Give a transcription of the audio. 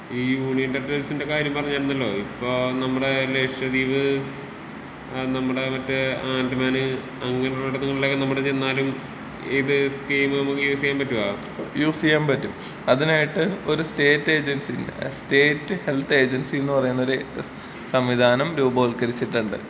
ഈ യൂണിയന്‍ ടെറിട്ടറീസിന്‍റെ കാര്യം പറഞ്ഞിരുന്നല്ലോ ഇപ്പൊ നമ്മടെ ലഷ ദീപ് അ നമ്മടെ മറ്റെ ആന്റമാന് അങ്ങനെയുള്ളിടത്തിള്ളൊക്കെ എവടെ ചെന്നാലും ഇത് സ് കീമ് നമ്മക്ക് യൂസിയാൻ പറ്റോ യൂസിയാമ്പറ്റും അതിനായിട്ട് ഒരു സ്റ്റേറ്റ് ഏജന്‍സീനെ സ്റ്റേറ്റ് ഹെൽത്ത് ഏജൻസി എന്ന് പറയുന്നൊരു സംവിധാനം രൂപവൽക്കരിച്ചിട്ടുണ്ട്.